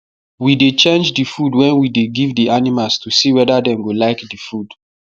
we dey change the food wen we dey give the animals to see weda dem go like the food